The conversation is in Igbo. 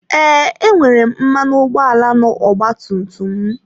Ee, enwere m mmanụ ụgbọala na ọgba tum tum m.